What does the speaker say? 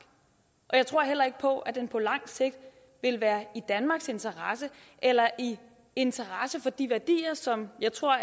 og jeg tror heller ikke på at den på langt sigt vil være i danmarks interesse eller i interesse for de værdier som jeg tror